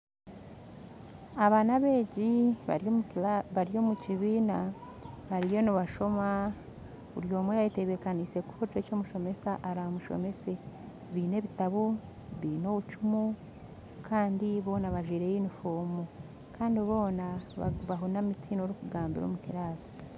Aba n'abeegi bari omu kibiina bariyo nibashoma, buri omwe ayeteebekanise kuhurira eki omushomesa araayegyese, baine obutabo baine obucumu kandi boona bajwire yunifoomu boona bahunami tihaine orikugambira omu kibiina